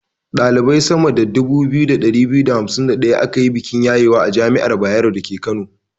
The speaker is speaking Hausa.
Ɗalibai sama da 2251 aka yi bikin yayewa a jami'ar Bayero dake Kano.